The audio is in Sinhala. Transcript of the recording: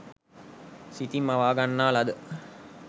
සිතින් මවා ගන්නා ලද